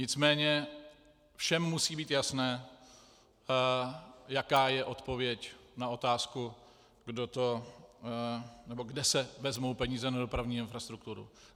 Nicméně všem musí být jasné, jaká je odpověď na otázku, kde se vezmou peníze na dopravní infrastrukturu.